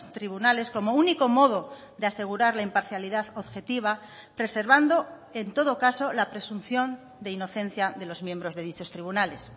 tribunales como único modo de asegurar la imparcialidad objetiva preservando en todo caso la presunción de inocencia de los miembros de dichos tribunales